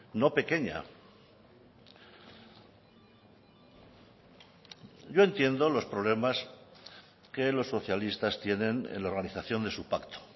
no pequeña yo entiendo los problemas que los socialistas tienen en la organización de su pacto